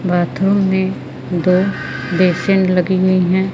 Bathroom में दो basin लगी हुई है।